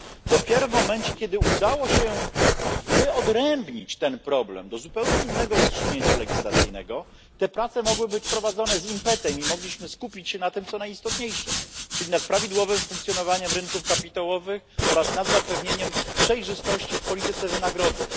Dopiero w momencie, kiedy udało się wyodrębnić ten problem do zupełnie innego rozstrzygnięcia legislacyjnego, te prace mogły być prowadzone z impetem i mogliśmy skupić się na tym co najistotniejsze, czyli nad prawidłowym funkcjonowaniem rynków kapitałowych oraz nad zapewnieniem przejrzystości w polityce wynagrodzeń.